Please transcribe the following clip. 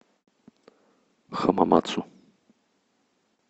хамамацу